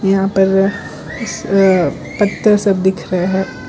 यहां पर इस पत्थर सब दिख रहा है।